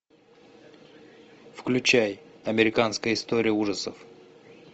включай американская история ужасов